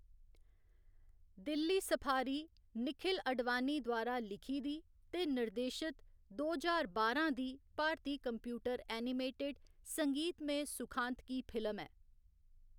Delhi safari Nikhil Advani द्वारा लिखी दी ते निर्देशित दो ज्हार बारां दी भारती कंप्यूटर एनिमेटेड संगीतमय सुखांतकी फिल्म ऐ।